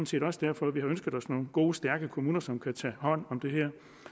set også derfor vi har ønsket os nogle gode stærke kommuner som kan tage hånd om det her